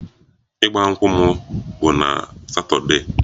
Ịgba nkwụ m bụ na satọdee